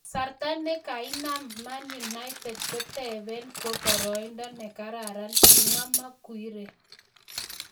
"Kasarta ne kainam Man United kotebin ko boroindo ne kararan," kimwa Maguire